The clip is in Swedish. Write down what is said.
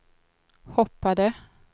hoppade